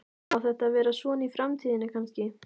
Á þetta að vera svona í framtíðinni kannski?